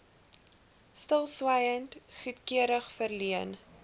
stilswyend goedkeuring verleen